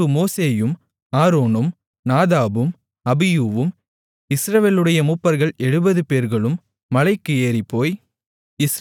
பின்பு மோசேயும் ஆரோனும் நாதாபும் அபியூவும் இஸ்ரவேலுடைய மூப்பர்கள் எழுபதுபேர்களும் மலைக்கு ஏறிப்போய்